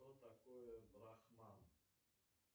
что такое брахман